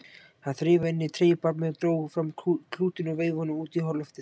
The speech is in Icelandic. Hann þreifaði inn á treyjubarminn, dró fram klútinn og veifaði honum út í loftið.